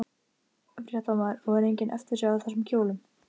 Fréttamaður: Og er engin eftirsjá af þessum kjólum?